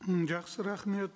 м жақсы рахмет